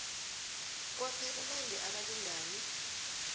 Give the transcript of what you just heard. kwaphela nange abalingani